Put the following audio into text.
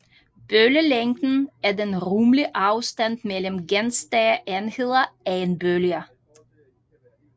Bølgelængden er den rummelige afstand mellem gentagne enheder af en bølge